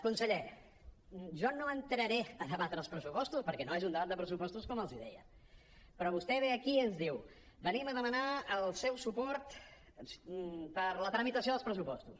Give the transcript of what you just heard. conseller jo no entraré a debatre els pressupostos perquè no és un debat de pressupostos com els deia però vostè ve aquí i ens diu venim a demanar el seu suport per a la tramitació dels pressupostos